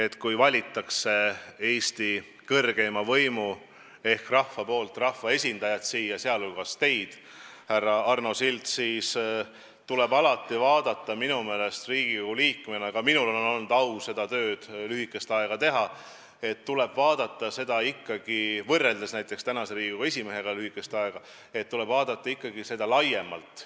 Kui keegi, näiteks teie, härra Arno Sild, on Eesti kõrgeima võimu ehk rahva poolt rahvaesindajana siia valitud, siis tuleb tal Riigikogu liikmena – ka minul on olnud au seda tööd teha, aga võrreldes näiteks praeguse Riigikogu esimehega lühikest aega – vaadata pilti ikkagi laiemalt.